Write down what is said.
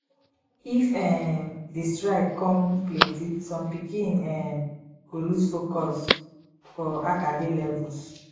if um di strike kon plenti som pikin um go lose focus for acada levels